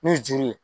N'u juru ye